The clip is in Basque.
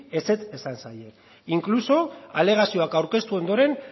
ezetz esan zaie incluso alegazioak aurkeztu ondoren